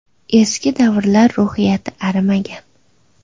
Eski davrlar ruhiyati arimagan.